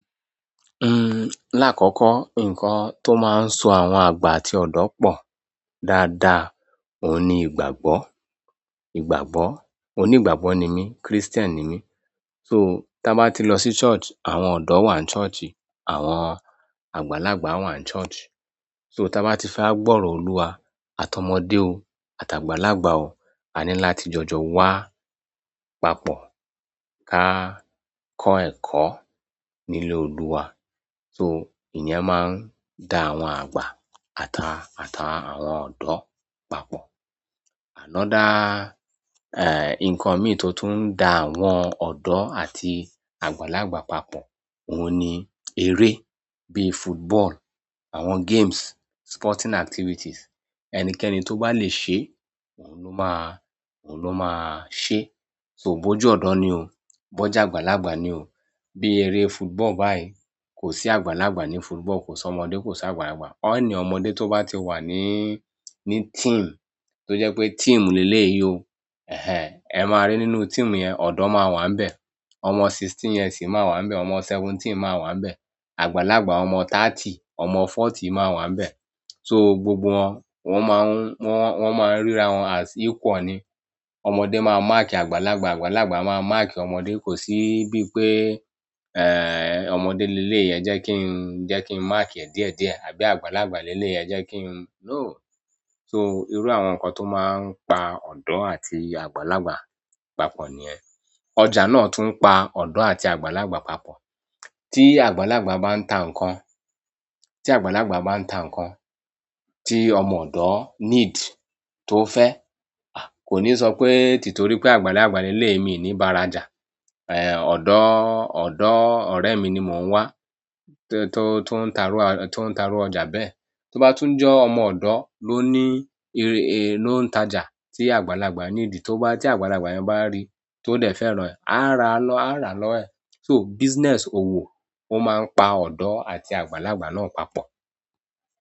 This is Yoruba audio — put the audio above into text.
Uhm, lákọ̀kọ́ nǹkan tó máa ń so àwọn àgbà àti ọ̀dọ́ pọ̀ dáadáa òun ni ìgbàgbọ́, ìgbàgbọ́. Oní ìgbàgbọ́ ni mí, Christian ni mí. So, ta bá ti lọ sí church, àwọn ọ̀dọ́ wà n church, àwọn àgbàlagbà wà n church. So, ta bá ti fẹ́ wàgbọ́rọ́ Olúwa, àtọmọdé o, àtàgbàlagbà o, a ní láti jọjọ wá papọ̀ ká kọ́ ẹ̀kọ́ nílé Olúwa. So, ìye máa ń da àwọn àgbà àtà, àtà àwọn ọ̀dọ́ papọ̀. Ànáa dá, eh, nǹkan mi tó tún ń da àwọn ọ̀dọ́ àti àgbàlagbà papọ̀, òun ni eré. Bíi football, àwọn games, sporting activities. Ẹnikẹ́ni tó bá le ṣe, òun lo máa, òun ló máa ṣe. So, ò bó je ọ̀dọ́ ni o, bó je àgbàlagbà ni o. Bi ere football bayi kosi àgbàlagbà ni football kosi ọmọdé kosi àgbàlagbà. Ó ní ọmọdé tó bá ti wà ní, ní team, tó jẹ́ pé team léle yìí o, eh hen, ẹ máa rí nínú team yẹn, ọ̀dọ́ máa wà níbẹ̀, ọmọ sixteen years máa wà níbẹ̀, ọmọ seventeen máa wà níbẹ̀. Àgbàlagbà, ọmọ thirty, ọmọ forty máa wà níbẹ̀. So, gbogbo wọn, wọ́n máa ń, wọ́n, wọ́n máa ń ríra wọn as equal ni. Ọmọdé máa máàkì àgbàlagbà, àgbàlagbà máa máàkì ọmọdé. Kò sí bí pé, eh, ọmọdé léle yìí jẹ́ kí n, jẹ́ kí n máàkì ẹ̀ díẹ̀díẹ̀, àbí àgbàlagbà léle yìí jẹ́ kí n. No. So, irú àwọn nǹkan tó máa ń pa ọ̀dọ́ àti àgbàlagbà papọ̀ ni ẹ. Ọjà náà tún ń pa ọ̀dọ́ àti àgbàlagbà papọ̀. Tí àgbàlagbà bá ń ta nǹkan, tí àgbàlagbà bá ń ta nǹkan tí ọmọ ọ̀dọ́ needs, tó fẹ́, a kò ní sọ pé títorí pé àgbàlagbà léle mi ni bara jà, eh, ọ̀dọ́, ọ̀dọ́ ọ̀rẹ́ mi ni mò ń wá tó, tó ń ta rú ọ, tó ń ta rú ọjà bẹ́ẹ̀. Tí ó bá tún jọ́ ọmọ ọ̀dọ́ ló ní, èrè è ló ń ta jà tí àgbàlagbà nídìí, tó bá, tí àgbàlagbà yẹn bá rí i, tó dẹ̀ fẹ́ràn rẹ̀, á ra lọ, á ra lọ ẹ̀. So, business òwò ó máa ń pa ọ̀dọ́ àti àgbàlagbà náà papọ̀.